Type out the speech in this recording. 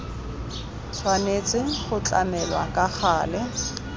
tshwanetse go tlamelwa ka gale